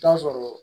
Taa sɔrɔ